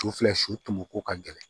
U filɛ suko ko ka gɛlɛn